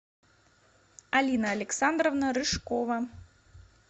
алина александровна рыжкова